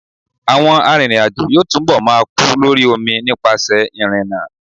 Àwọn arìnrìn-àjò yóò túnbọ̀ máa kú lórí omi nípasẹ̀ ìrìnnà.